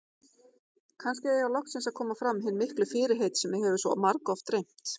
Kannski eiga loksins að koma fram hin miklu fyrirheit sem mig hefur svo margoft dreymt.